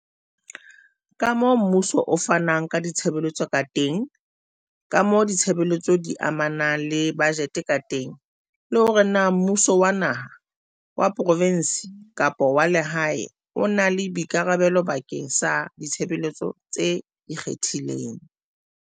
kamoo mmuso o fanang ka ditshebeletso ka teng, kamoo ditshebeletso di amanang le bajete ka teng le hore na mmu so wa naha, wa provense kapa wa lehae o na le boikarabelo bakeng sa ditshebeletso tse ikgethileng.